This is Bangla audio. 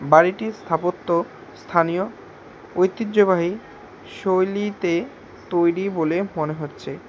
বাড়িটির স্থাপত্য স্থানীয় ঐতিহ্যবাহী শৈলীতে তৈরী বলে মনে হচ্ছে।